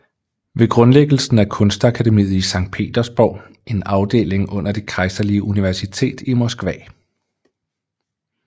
Ved grundlæggelsen af kunstakademiet i Sankt Petersborg en afdeling under Det Kejserlige Universitet i Moskva